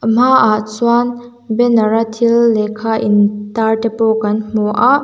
a hmaah chuan banner a thil lehkha in tar te pawh kan hmu a.